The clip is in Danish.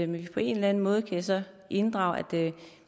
vi på en eller anden måde kan inddrage at